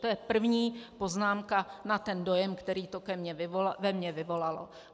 To je první poznámka, na ten dojem, který to ve mně vyvolalo.